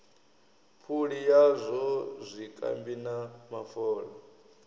phuli yazwo zwikambi na mafola